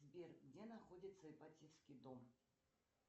сбер где находится ипатьевский дом